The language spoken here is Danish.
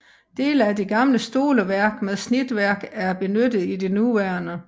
Dele af det gamle stoleværk med snitværk er benyttet i det nuværende